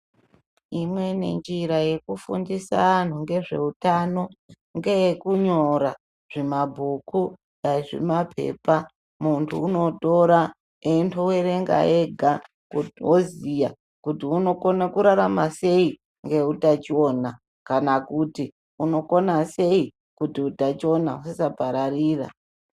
Imweni njira yekufundisa antu ngezvehutano ngeyekunyora zvimabhuku dai zvimapepa. Muntu unotora eindo verenga ega kuti oziya kuti unokona kurarama sei neutachiona. Kana kuti unokona sei kuti utachiona husapararira.